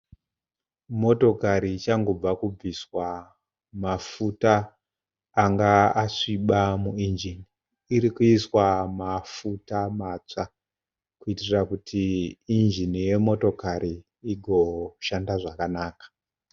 Motokari ichangobva kubviswa mafuta anga asviba muinjini. Iri kuiswa mafuta matsva kuitira kuti injini yemotokari igoshanda zvakanaka.